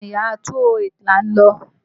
Bẹ́ẹ̀ni, Yàrá 208 là ń lọ.